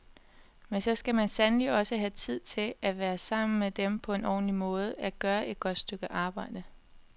Men så skal man sandelig også have tid til at være sammen med dem på en ordentlig måde, at gøre et godt stykke arbejde.